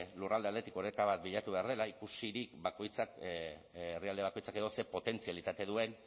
lurralde aldetik oreka bat bilatu behar dela ikusirik bakoitzak herrialde bakoitzak edo zer potentzialitate duen